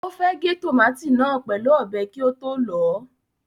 Ó fẹ́ gé tòmátì náà pẹ̀lú ọ̀bẹ kí ó tó lọ̀ ọ́.